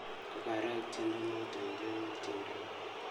Kogarok tyendo noto indenowon tyendo ni